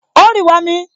O ń rì wọmi